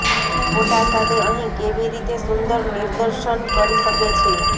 ફોટા સાથે અહીં કેવી રીતે સુંદર નિદર્શન કરી શકે છે